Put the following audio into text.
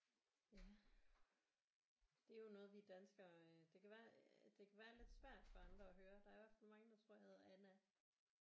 Ja det er jo noget vi danskere det kan være det kan være lidt svært for andre at høre der er i hvert fald mange der tror jeg hedder Anna